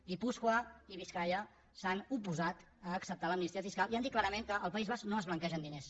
guipúscoa i biscaia s’han oposat a acceptar l’amnistia fiscal i han dit clarament que al país basc no es blanquegen diners